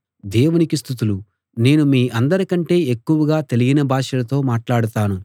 దేవునికి స్తుతులు నేను మీ అందరికంటే ఎక్కువగా తెలియని భాషలతో మాట్లాడతాను